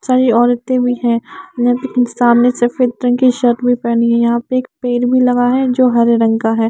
सारी औरतें भी हैं सामने सफेद रंग की शर्ट भी पहनी है यहाँ पे एक पेड़ भी लगा है जो हरे रंग का है।